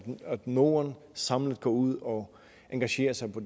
norden samlet går ud og engagerer sig på